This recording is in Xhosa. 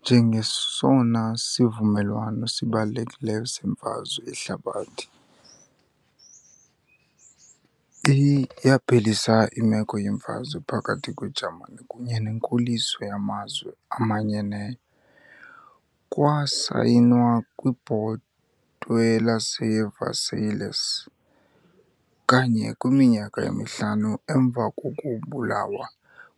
Njengesona sivumelwano sibalulekileyo seMfazwe Yehlabathi iyaphelisa imeko yemfazwe phakathi kweJamani kunye nenkoliso yaMazwe Amanyeneyo. Kwasayinwa kwiBhotwe laseVersailles, kanye kwiminyaka emihlanu emva kokubulawa